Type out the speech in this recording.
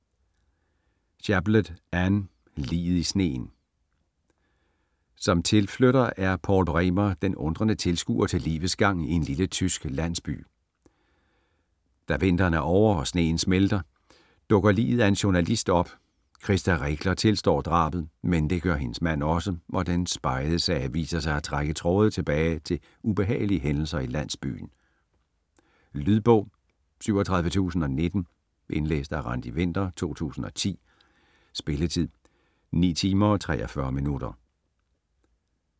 Chaplet, Anne: Liget i sneen Som tilflytter er Paul Bremer den undrende tilskuer til livets gang i en lille tysk landsby. Da vinteren er ovre og sneen smeltet, dukker liget af en journalist op. Krista Regler tilstår drabet, men det gør hendes mand også, og den spegede sag viser sig at trække tråde tilbage til ubehagelige hændelser i landsbyen. Lydbog 37019 Indlæst af Randi Winther, 2010. Spilletid: 9 timer, 43 minutter.